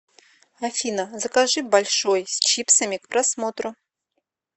афина закажи большой с чипсами к просмотру